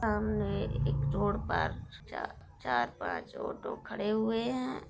सामने एक रोड पर चा चार-पाँच ऑटो खड़े हुए हैं।